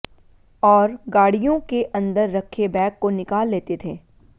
और गाडियों के अन्दर रखे बैग को निकाल लेते थें